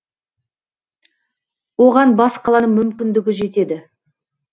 оған бас қаланың мүмкіндігі жетеді